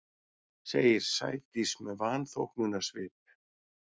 segir Sædís með vanþóknunarsvip.